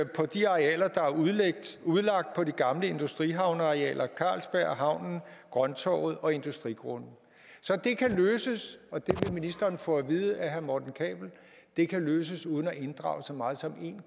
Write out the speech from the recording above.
på de arealer der er udlagt på de gamle industrihavnearealer carlsberg havnen grønttorvet og industrigrunde så det kan løses og det ministeren få at vide af herre morten kabell det kan løses uden at inddrage så meget som en